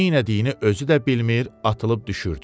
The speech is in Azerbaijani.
Neynədiyini özü də bilmir, atılıb düşürdü.